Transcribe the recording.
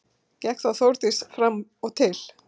Gekk þá Þórdís fram og til